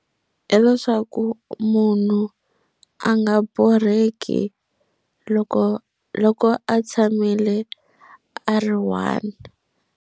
Hileswaku munhu a nga borheki loko loko a tshamile a ri one.